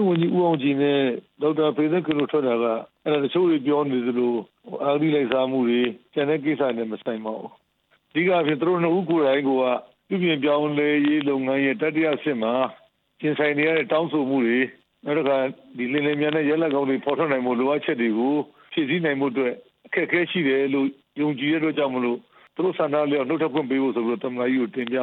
ဝန်ကြီး ဦးအောင်ကြည် နဲ့ ဒေါက်တာ ဖေသက်ခင် တို့ထွက်တာက တချို့ပြောနေသလို အဂတိလိုက်စားမှုတွေ ကျန်တဲ့ကိစ္စတွေနဲ့ မဆိုင်ပါဘူး၊ အဓိကက သူတို့နှစ်ဦးကိုယ်တိုင်က ပြုပြင်ပြောင်းလဲရေးလုပ်ငန်းရဲ့ တတိယအဆင့်မှာ ရင်ဆိုင်နေရတဲ့ တောင်းဆိုမှုတွေ၊ လျှင်လျှင်မြန်မြန်နဲ့ ရလာဒ်ကောင်းတွေ ပေါ်ထွက်လာဖို့ လိုအပ်ချက်တွေ ကို ဖြည့်ဆည်းနိုင်ဖို့အတွက် အခက်အခဲရှိတယ်လို့ ယုံကြည်တဲ့အတွက်ကြောင့်မို့ သူတို့ဆန္ဒအလျောက် နှုတ် ထွက်ခွင့်ပေးဖို့ဆိုပြီးတော့ သမ္မတကြီးကိုတင်ပြ